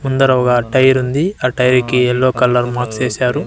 ముందర ఒగ టైరుంది ఆ టైర్ కి ఎల్లో కలర్ మార్క్స్ ఏశారు.